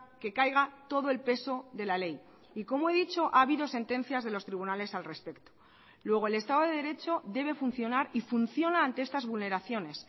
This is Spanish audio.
que caiga todo el pesode la ley y como he dicho ha habido sentencias de los tribunales al respecto luego el estado de derecho debe funcionar y funciona ante estas vulneraciones